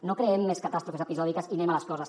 no creem més catàstrofes episòdiques i anem a les coses